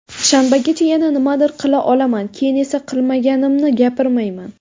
Shanbagacha yana nimadir qila olaman, keyin esa qilmaganimni gapirmayman.